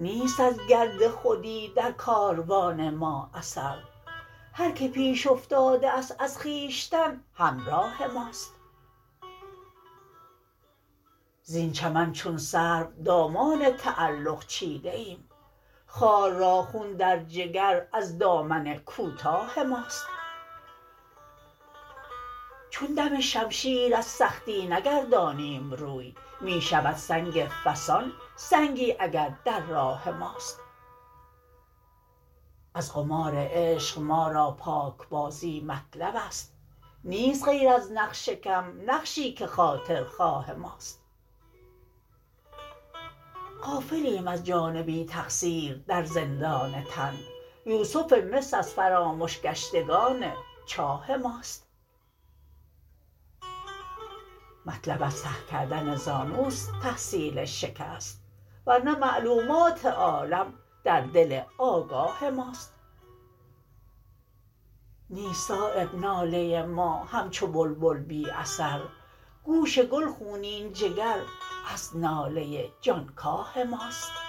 نیست از گرد خودی در کاروان ما اثر هر که پیش افتاده است از خویشتن همراه ماست زین چمن چون سرو دامان تعلق چیده ایم خار را خون در جگر از دامن کوتاه ماست چون دم شمشیر از سختی نگردانیم روی می شود سنگ فسان سنگی اگر در راه ماست از قمار عشق ما را پاکبازی مطلب است نیست غیر از نقش کم نقشی که خاطرخواه ماست غافلیم از جان بی تقصیر در زندان تن یوسف مصر از فرامش گشتگان چاه ماست مطلب از ته کردن زانوست تحصیل شکست ورنه معلومات عالم در دل آگاه ماست نیست صایب ناله ما همچو بلبل بی اثر گوش گل خونین جگر از ناله جانکاه ماست